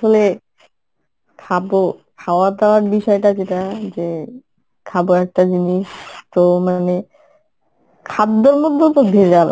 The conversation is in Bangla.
আসলে খাবো, খাওয়া দাওয়ার বিষয়টা যেটা যে খাবো একটা জিনিস তো মানে খাদ্যের মধ্যে ও তো ভেজাল